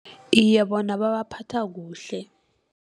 Iye bona babaphatha kuhle.